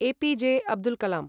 APJ. Abdul Kalam